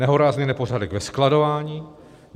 Nehorázný nepořádek ve skladování!